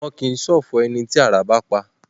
Wọn kìí ṣọ̀fọ̀ ẹni tí àrá bá pa